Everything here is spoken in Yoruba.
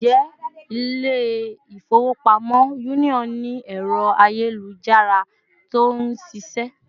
Ǹjẹ́ Ilé-ifowopamo Union ni ẹrọ ayelujara tí ó nṣiṣẹ